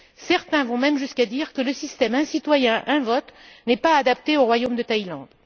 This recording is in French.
Certains vont même jusqu'à dire que le système un citoyen, une voix n'est pas adapté au royaume de Thaïlande.